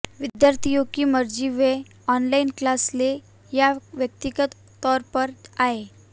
विद्यार्थियों की मर्जी वे ऑनलाइन क्लास लें या व्यक्तिगत तौर पर आएं